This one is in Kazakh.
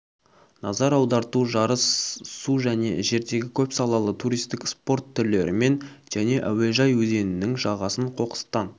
назар аударту жарыс су және жердегі көпсалалы туристік спорт түрлерімен және әуежай өзенінің жағасын қоқыстан